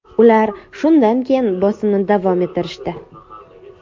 Ular shundan keyin bosimni davom ettirishdi.